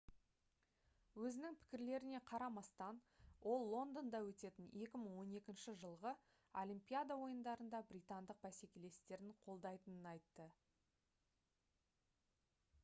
өзінің пікірлеріне қарамастан ол лондонда өтетін 2012 жылғы олимпиада ойындарында британдық бәсекелестерін қолдайтынын айтты